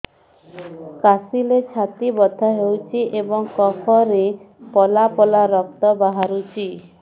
କାଶିଲେ ଛାତି ବଥା ହେଉଛି ଏବଂ କଫରେ ପଳା ପଳା ରକ୍ତ ବାହାରୁଚି